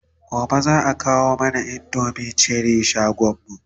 gobe zaa kawo mana indomin Cherie shagonmu